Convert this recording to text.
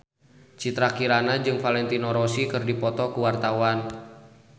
Citra Kirana jeung Valentino Rossi keur dipoto ku wartawan